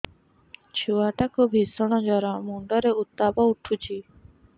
ଛୁଆ ଟା କୁ ଭିଷଣ ଜର ମୁଣ୍ଡ ରେ ଉତ୍ତାପ ଉଠୁଛି